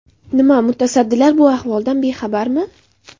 Nima, mutasaddilar bu ahvoldan bexabarmi?